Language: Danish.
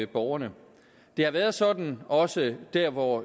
borgerne det har været sådan også der hvor